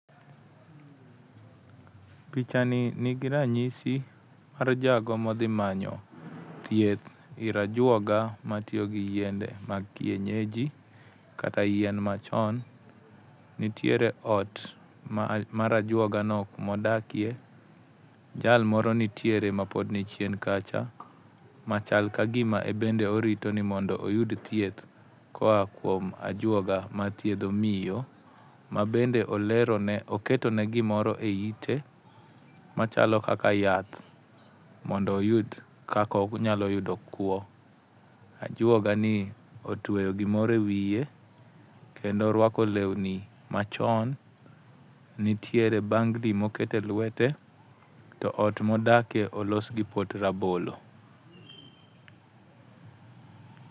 Picha ni nigi ranyisi mar jago modhi manyo thieth ir ajuoga matiyo gi yiende mag kienyeji kata yien machon. Nitiere ot mar ajuogano modakie, jal moro nitiere mapod ni chien kachal kagima en bende orito ni mondo oyud thieth koa kuom ajuoga mathiedho miyo mabende olero ne oketone gimoro eiite machalo kaka yath mondo oyud kaka onyalo yudo kwo. Ajuoga ni otieyo gimoro ewiye kendo moruako lewni machon nitiere bangli mokete elwete to ot modakie olos gi pot rabolo.